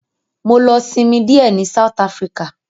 Mọ lọ sinmi díẹ̀ ní South Africa.